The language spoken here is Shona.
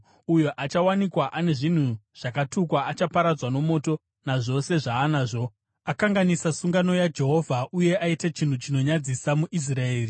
Uyo achawanikwa ane zvinhu zvakatukwa achaparadzwa nomoto, nazvose zvaanazvo. Akanganisa sungano yaJehovha uye aita chinhu chinonyadzisa muIsraeri!’ ”